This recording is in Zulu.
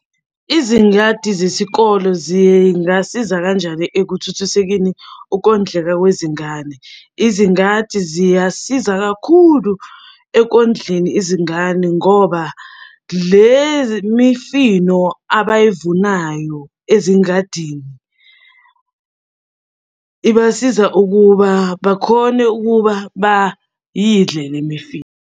Izingadi zesikolo zingasiza kanjani ekuthuthusekeni ukondleka kwezingane? Izingadi ziyasiza kakhulu ekondleni izingane ngoba le mifino abayivunayo ezingadini, ibasiza ukuba bakhone ukuba bayidle le mifino.